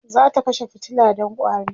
zata kashe fitila Dan ƙwari